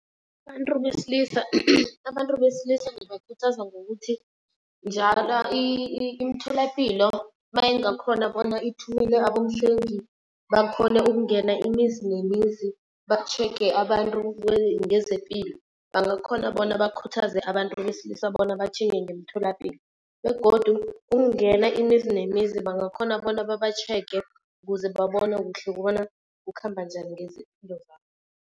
Abantu besilisa. Abantu besilisa ngibakhuthaza ngokuthi njalo imitholapilo mayingakhona bona ithumele abomhlengi, bakhone ukungena imizi nemizi batjhege abantu ngezepilo. Bangakhona bona bakhuthaze abantu besilisa bona batjhinge ngemtholapilo. Begodu ukungena imizi nemizi bangakhona bona babatjhege kuze babone kuhle kobana kukhamba njani